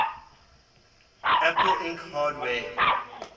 apple inc hardware